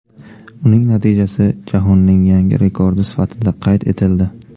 Uning natijasi jahonning yangi rekordi sifatida qayd etildi.